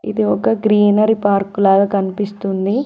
ఇది ఒక greenery park లాగా కనిపిస్తుంది.